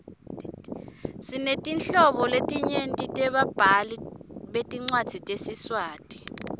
sinetinhlobo letinyenti tebabhali betincwadzi tesiswati